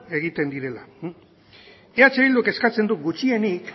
egiten direla eh bilduk eskatzen du gutxienik